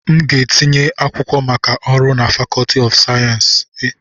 M ga-etinye akwụkwọ maka ọrụ na Fakọọti nke Sosha sayensị